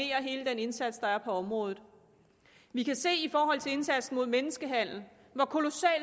hele den indsats der er på området vi kan se i forhold til indsatsen mod menneskehandel hvor kolossal